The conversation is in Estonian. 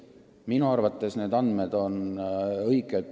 Minu arvates need andmed on õiged.